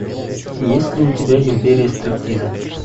есть ли у тебя империя стриптиза